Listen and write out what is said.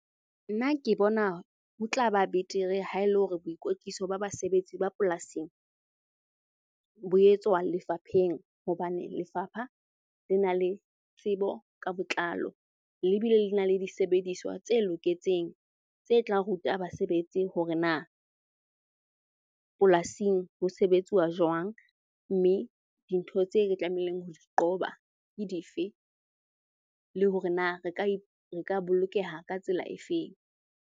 Nna ke bona ho tla ba betere ha e le hore boikwetliso ba basebetsi ba polasing bo etswa lefapheng. Hobane lefapha le na le tsebo ka botlalo, le bile le na le disebediswa tse loketseng tse tlang ruta basebetsi hore na polasing ho sebetsuwa jwang. Mme dintho tse re tlamehileng ho di qoba ke dife le hore na re ka bolokeha ka tsela efeng?